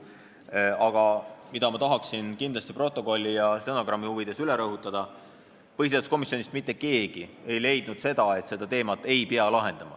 Aga ma tahan kindlasti stenogrammi huvides üle rõhutada: põhiseaduskomisjonis ei leidnud mitte keegi, et seda teemat ei pea lahendama.